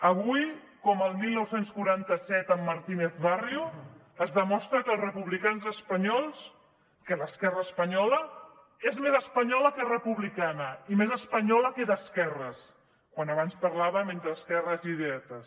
avui com el dinou quaranta set amb martínez barrio es demostra que els republicans espanyols que l’esquerra espanyola és més espanyola que republicana i més espanyola que d’esquerres quan abans parlàvem entre esquerres i dretes